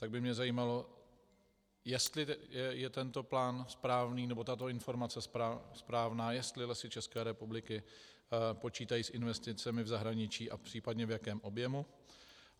Tak by mě zajímalo, jestli je tento plán správný, nebo tato informace správná, jestli Lesy České republiky počítají s investicemi v zahraničí a případně v jakém objemu.